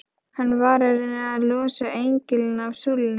Hann var að reyna að losa engilinn af súlunni!